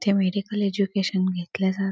इथे medical education घेतले जा--